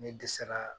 Ne dɛsɛra